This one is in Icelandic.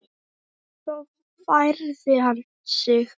En svo færði hann sig.